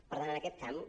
per tant en aquest camp